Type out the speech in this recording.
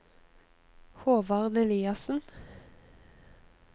Håvard Eliassen